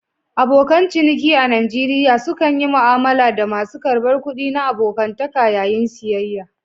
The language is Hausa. Abokan ciniki a Najeriya sukan yi mu'amala da masu karbar kuɗi na abokantaka yayin siyayya.